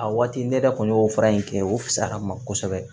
A waati ne yɛrɛ kun y'o fara in kɛ o fisayara ma kosɛbɛ